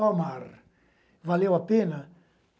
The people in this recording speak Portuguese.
Ó mar, valeu a pena?